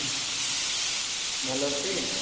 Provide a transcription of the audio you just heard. ভালো আছিস?